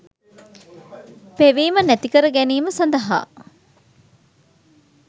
පෙවීම නැතිකර ගැනීම සඳහා